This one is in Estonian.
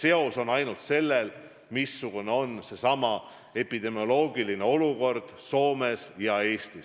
Tähtis on ainult see, missugune on epidemioloogiline olukord Soomes ja Eestis.